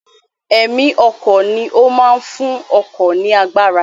Ẹ̀mí ọkọ̀ ni ó máa ń fún ọkọ̀ ní agbára